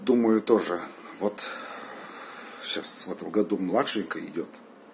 думаю тоже вот сейчас в этом году младшенькая идёт